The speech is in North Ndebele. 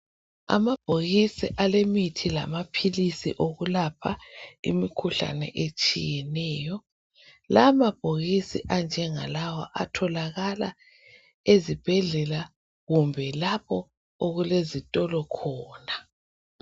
Amabhokisi alemithi lamaphilisi okwelapha imikhuhlane etshiyeneyo. Amabhokisi anjengalawa atholakala ezibhedlela kumbe lapho okulezitolo khona.